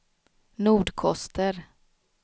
Nordkoster